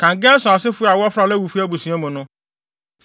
“Kan Gerson asefo a wɔfra Lewifo abusua mu no,